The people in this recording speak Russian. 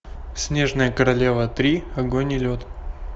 снежная королева три огонь и лед